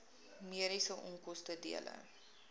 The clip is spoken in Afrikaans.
mediese onkoste dele